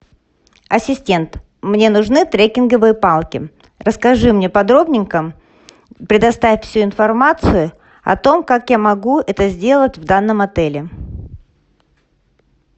ассистент мне нужны трекинговые палки расскажи мне подробненько предоставь всю информацию о том как я могу это сделать в данном отеле